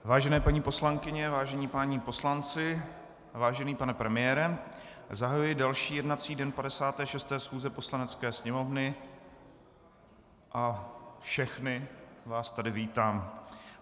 Vážené paní poslankyně, vážení páni poslanci, vážený pane premiére, zahajuji další jednací den 56. schůze Poslanecké sněmovny a všechny vás tady vítám.